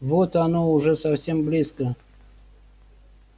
вот оно уже совсем близко